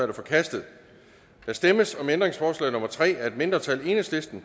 er forkastet der stemmes om ændringsforslag nummer tre af et mindretal